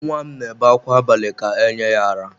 Nwa m na-ebe akwa abalị ka e nye ya ara.